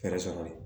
Fɛɛrɛ sɔrɔ